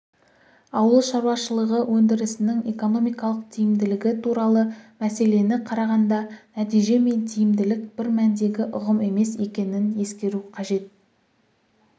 ауыл шаруашылығы өндірісінің экономикалық тиімділігі туралы мәселені қарағанда нәтиже мен тиімділік бір мәндегі ұғым емес екенін ескеру қажет